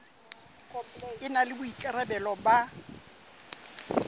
e na le boikarabelo ba